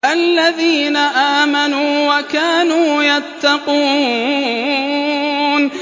الَّذِينَ آمَنُوا وَكَانُوا يَتَّقُونَ